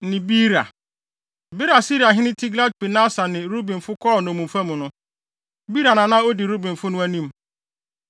ne Beera. Bere a Asiriahene Tilgat-Pilneser de Rubenfo kɔɔ nnommumfa mu no, Beera na na odi Rubenfo no anim.